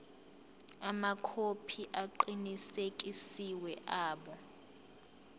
amakhophi aqinisekisiwe abo